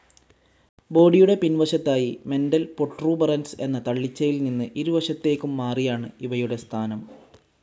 ബോഡിയുടെ പിൻ വശത്തായി മെന്റൽ പ്രൊട്രൂബറൻസ് എന്ന തള്ളിച്ചയിൽ നിന്ന് ഇരുവശത്തേയ്ക്കും മാറിയാണ് ഇവയുടെ സ്ഥാനം.